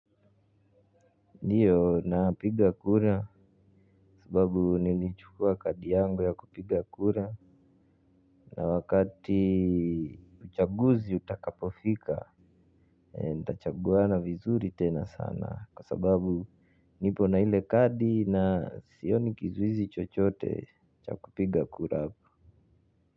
Ndiyo na piga kura sababu nilichukua kadi yangu ya kupiga kura na wakati uchaguzi utakapofika nitachaguana vizuri tena sana kwa sababu nipo na ile kadi na sioni kizuizi chochote cha kupiga kura hapo.